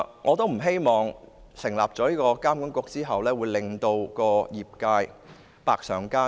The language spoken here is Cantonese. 我不希望旅監局成立之後，會令業界百上加斤。